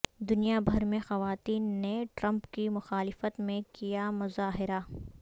دنیا بھر میں خواتین نے ٹرمپ کی مخالفت میں کیا مظاہرہ